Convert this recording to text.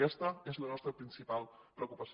aquesta és la nostra principal preocupació